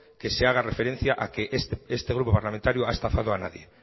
que se haga referencia a que este grupo parlamentario ha estafado a nadie